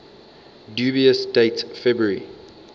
dubious date february